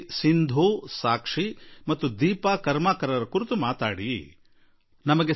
ಸಿಂಧು ಸಾಕ್ಷಿ ಹಾಗೂ ದೀಪಾ ಕರ್ಮಾಕರ್ ಕುರಿತು ಖಂಡಿತಾ ಪ್ರಸ್ತಾಪ ಮಾಡಿ ಎಂದು ನಿಮ್ಮಲ್ಲಿ ನನ್ನ ನಿವೇದನೆ ಎಂದಿದ್ದಾರೆ